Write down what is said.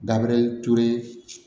Dabe ture